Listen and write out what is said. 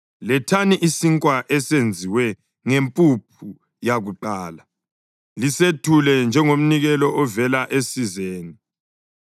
Lethani isinkwa esenziwe ngempuphu yakuqala lisethule njengomnikelo ovela esizeni.